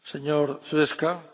Panie Przewodniczący!